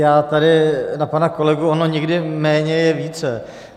Já tady na pana kolegu - ono někdy méně je více.